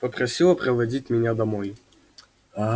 попросила проводить меня домой